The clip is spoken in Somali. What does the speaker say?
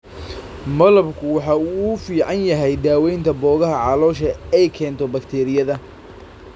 Malabku waxa uu u fiican yahay daawaynta boogaha caloosha ee ay keento bakteeriyada.